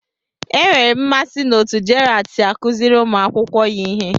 Enwere m mmasị n'otú Gerald si akụziri ụmụ akwụkwọ ya ihe